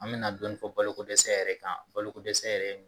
An bɛna dɔɔnin fɔ balokodɛsɛ yɛrɛ kan balokodɛsɛ yɛrɛ ye mun ye?